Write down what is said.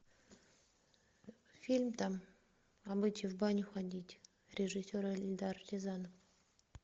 фильм там обычай в баню ходить режиссер эльдар рязанов